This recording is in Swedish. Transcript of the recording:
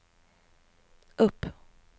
upp